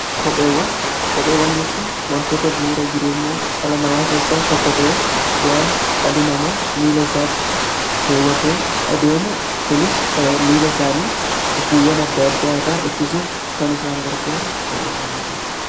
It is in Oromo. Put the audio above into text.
Kopheewwan jechuun wantoota bu'uura jireenya dhala namaa keessaa tokko ta'e waan dhalli nama miila isaatti keewwatee adeemu kunis miila isaanii gufuuwwan adda addaa irraa ittisuuf kan isaan gargaaru kopheewwan jedhama.